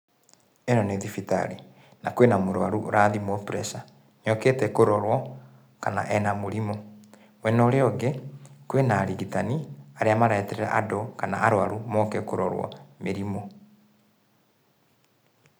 Ĩno nĩ thibitarĩ na kwĩna mũrũaru ũrathimwo pressure, okĩte kũrorwo kana ena mũrimũ. Mwena ũrĩa ũngĩ kwĩna arigitani arĩa mareterera andũ kana arũaru moke kũrorwo mĩrimũ.